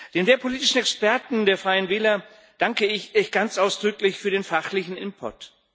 Den wehrpolitischen Experten der Freien Wähler danke ich ganz ausdrücklich für den fachlichen Input.